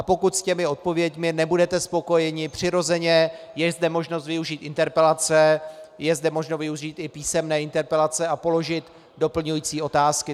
A pokud s těmi odpověďmi nebudete spokojeni, přirozeně je zde možnost využít interpelace, je zde možno využít i písemné interpelace a položit doplňující otázky.